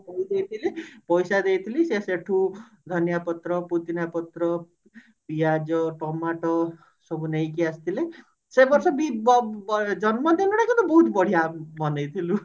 ମୁଁ କହିଦେଇଥିଲି ପଇସା ଦେଇଥିଲି ସେ ସେଠୁ ଧନିଆ ପତ୍ର ପୁଦିନା ପତ୍ର ପିଆଜ ଟମାଟର ସବୁ ନେଇକି ଆସିଥିଲେ ଜନ୍ମ ଦିନ ଟା କିନ୍ତୁ ବହୁତ ବଢିଆ ମନେଇଥିଲୁ